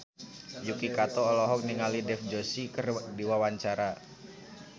Yuki Kato olohok ningali Dev Joshi keur diwawancara